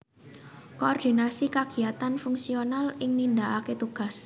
Koordinasi kagiyatan fungsional ing nindakaké tugas